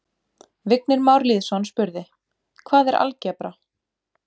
Vignir Már Lýðsson spurði: Hvað er algebra?